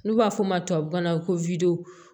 N'u b'a fɔ o ma tubabukan na ko